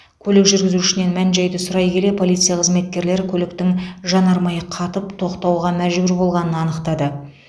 көлік жүргізушінен мән жайды сұрай келе полиция қызметкерлері көліктің жанармайы қатып тоқтауға мәжбүр болғанын анықтады